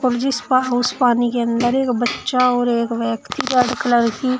जिसपा उस पानी के अंदर एक बच्चा और एक व्यक्ति रेड कलर की--